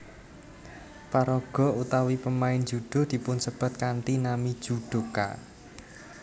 Paraga utawi pemain judo dipunsebat kanthi nami judoka